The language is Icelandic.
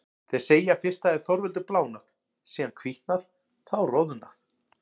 Þeir segja að fyrst hafi Þorvaldur blánað, síðan hvítnað, þá roðnað.